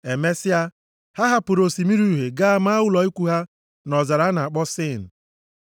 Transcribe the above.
Emesịa, ha hapụrụ Osimiri Uhie gaa maa ụlọ ikwu ha nʼọzara a na-akpọ Sin.